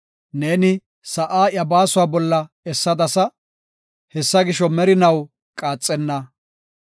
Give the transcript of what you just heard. Ne, sa7aa iya baasuwa bolla essadasa; hessa gisho, merinaw qaaxenna.